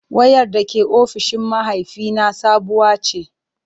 Wayar da ke ofishin mahaifina sabuwa ce.